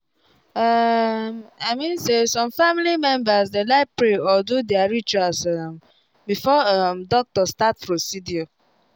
um i mean say some family members dey like pray or do their rituals um before um doctor start procedure